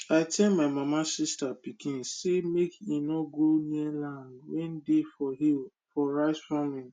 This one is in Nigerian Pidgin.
i tell my mama sista pikin say make e nor go near land wen dey for hill for rice farming